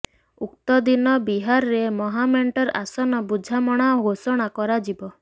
ଉକ୍ତ ଦିନ ବିହାରରେ ମହାମେଣ୍ଟର ଆସନ ବୁଝାମଣା ଘୋଷଣା କରାଯିବ